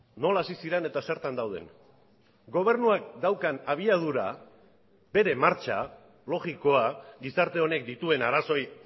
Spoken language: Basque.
nola hasi ziren eta zertan dauden gobernuak daukan abiadura bere martxa logikoa gizarte honek dituen arazoei